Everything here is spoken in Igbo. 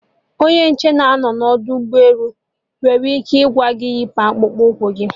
Onye nche nọ n'ọdọ ụgbọ elu nwere ike ịgwa gị yipu akpụkpụ ụkwụ gị